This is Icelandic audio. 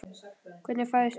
Hvernig fæðist það?